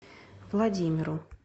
владимиру